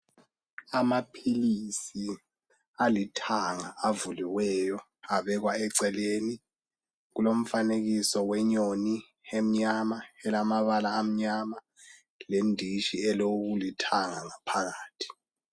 Amaphilisi alithanga avuliweyo abekwa eceleni. Kulomfanekiso wenyoni emnyama, elamabala amnyama, lendishi elokulithanga ngaphakathi.